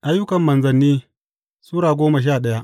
Ayyukan Manzanni Sura goma sha daya